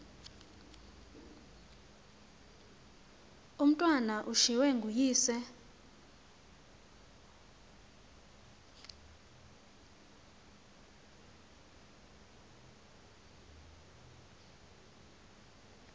umatwana ushiywe nguyise